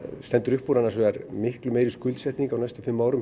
stendur upp úr annars vegar miklu meiri skuldsetning á næstu fimm árum